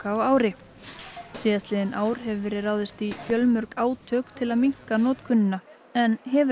á ári síðastliðin ár hefur verið ráðist í fjölmörg átök til að minnka notkunina en hefur